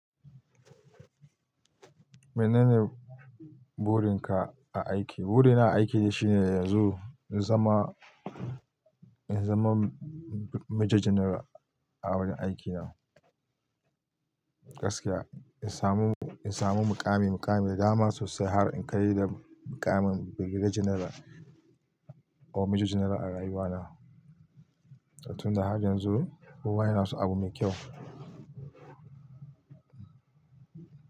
Menene burin ka a aiki? Burina a aiki shine yanzu in zama, in zama Major General a wurin aikina. Gaskiya, in samu, in samu mukami, mukami da dama sosai har in kai da mukamin Birgediya General ko Major General a rayuwa na. Tun da har yanzu kowa yana so abu mai kyau.